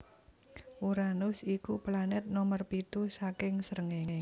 Uranus iku planet nomer pitu saking srengenge